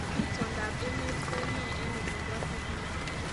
Itondoab emet kounee eng olin bo Syney